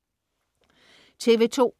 TV2: